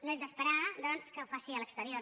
no és d’esperar doncs que ho faci a l’exterior